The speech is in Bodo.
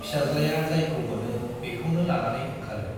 फिसाज्लाया जायखौ मोनो बेखौनो लानानै ओंखारो।